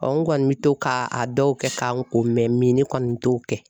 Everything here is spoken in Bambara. n kɔni bɛ to k'a dɔw kɛ k'an ko mɛ ni ne kɔni t'o kɛ.